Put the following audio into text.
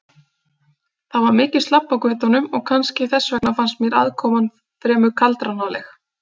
Það var mikið slabb á götunum og kannski þess vegna fannst mér aðkoman fremur kaldranaleg.